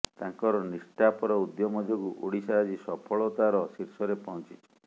ତାଙ୍କର ନିଷ୍ଠାପର ଉଦ୍ୟମ ଯୋଗୁଁ ଓଡ଼ିଶା ଆଜି ସଫଳତାର ଶୀର୍ଷରେ ପହଞ୍ଚିଛି